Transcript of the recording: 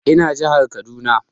Ina jihar Kaduna